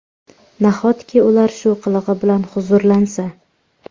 Nahotki ular shu qilig‘i bilan huzurlansa?